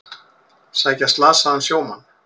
Sækja slasaðan sjómann